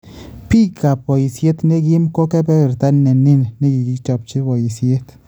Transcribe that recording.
Biikab boisyet nekiim ko keebeeberta neniin nekikichopchi boisyet